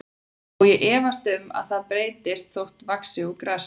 Og ég efast um að það breytist þótt hann vaxi úr grasi.